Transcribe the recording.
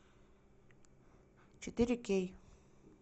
четыре кей